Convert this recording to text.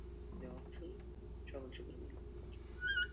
জি অর্থই সকল সুখের মূল।